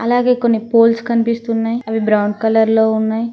అలాగే కొన్ని పోల్స్ కనిపిస్తున్నయ్ అవి బ్రౌన్ కలర్ లో ఉన్నాయ్.